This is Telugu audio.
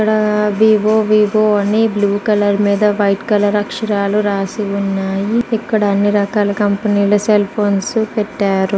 ఇక్కడ వివో వివో అని బ్ల్యూ కలర్ మీద వైట్ కలర్ అక్షరాలు రాశి ఉన్నాయి. ఇక్కడ అన్ని రకాల కంపెనీ ల సెల్ ఫోన్స్ పెట్టారు.